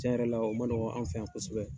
Cɛn yɛrɛ la o ma nɔgɔn, an fɛ yan kosɛbɛ.